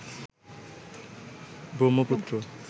Brahmaputra